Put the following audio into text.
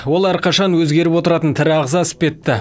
ол әрқашан өзгеріп отыратын тірі ағза іспетті